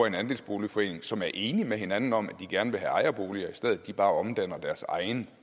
en andelsboligforening som er enige med hinanden om at de gerne vil have ejerboliger i stedet bare omdanner deres egen